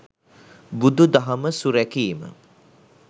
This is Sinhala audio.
බුදු දහම සුරැකීම